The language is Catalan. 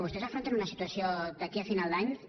vostès afronten una situació d’aquí a final d’any que